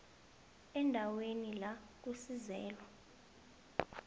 eendaweni la kusizelwa